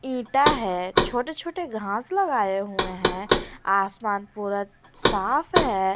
ईटा है छोटे छोटे घास लगाए हुए हैं आसमान पूरा साफ है।